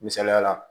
Misaliyala